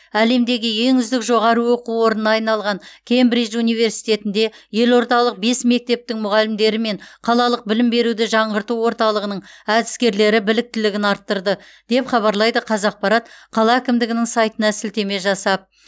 әлемдегі ең үздік жоғары оқу орнына айналған кембридж университетінде елордалық бес мектептің мұғалімдері мен қалалық білім беруді жаңғырту орталығының әдіскерлері біліктілігін арттырды деп хабарлайды қазақпарат қала әкімдігінің сайтына сілтеме жасап